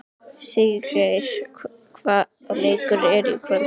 Siggeir, hvaða leikir eru í kvöld?